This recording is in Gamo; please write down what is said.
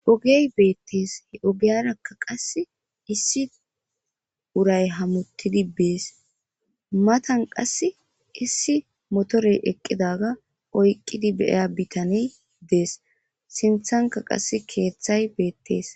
Ogey beettees he ogeyarakka qass issi uray hamuttidi bees matan qasse issi motorey eqqidaga oyqqidi beya bitaney dees sinthanka qass keeththay beettees